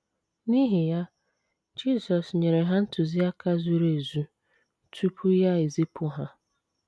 N’ihi ya, Jisọs nyere ha ntụziaka zuru ezu tupu ya ezipụ ha.